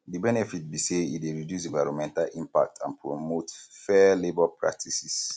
di benefit be say e dey reduce environmental impact and promote fair labor practices